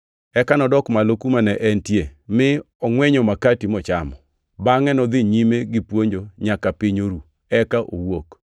Eka nodok malo kuma ne entie mi ongʼwenyo makati mochamo. Bangʼe nodhi nyime gipuonjo nyaka piny oru, eka owuok.